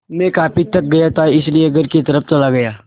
मैं काफ़ी थक गया था इसलिए घर की तरफ़ चला गया